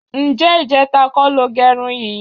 Ǹjé̩ ìje̩ta kó̩ lo ge̩run yìí?